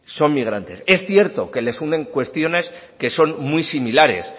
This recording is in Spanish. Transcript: son migrantes es cierto que les unen cuestiones que son muy similares